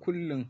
Kullum.